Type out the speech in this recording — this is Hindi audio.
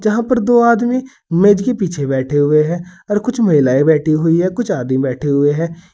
यहां पर दो आदमी मेज के पीछे बैठे हुए हैं और कुछ महिलाएं बैठी हुई हैं कुछ आदमी बैठे हुए हैं।